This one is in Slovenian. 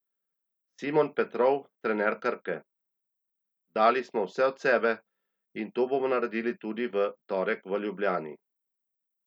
Simon Petrov, trener Krke: "Dali smo vse od sebe in to bomo naredili tudi v torek v Ljubljani.